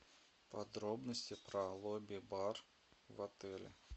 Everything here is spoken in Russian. подробности про лобби бар в отеле